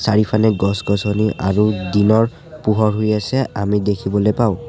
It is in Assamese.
চাৰিওফালে গছ-গছনি আৰু দিনৰ পোহৰ হৈ আছে আমি দেখিবলৈ পাওঁ।